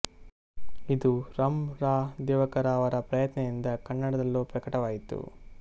ಇದು ರಂ ರಾ ದಿವಾಕರ ಅವರ ಪ್ರಯತ್ನದಿಂದ ಕನ್ನಡದಲ್ಲೂ ಪ್ರಕಟವಾಯಿತು